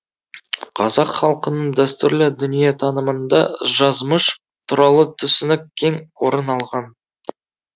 қазақ халқының дәстүрлі дүниетанымында жазмыш туралы түсінік кең орын алған